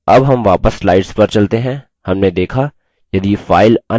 अब हम वापस slides पर चलते हैं